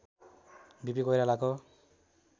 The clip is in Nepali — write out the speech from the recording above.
वि पि कोइरालाको